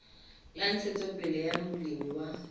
la ntshetsopele ya molemi wa